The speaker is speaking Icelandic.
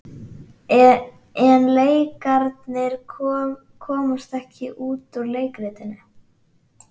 En leikararnir komast ekki út úr leikritinu.